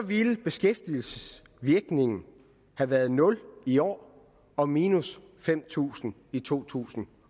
ville beskæftigelsesvirkningen have været nul i år og minus fem tusind i to tusind